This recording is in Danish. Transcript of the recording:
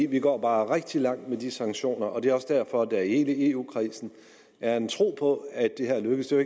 vi går bare rigtig langt med de sanktioner og det er også derfor at der i hele eu kredsen er en tro på at det her lykkes det er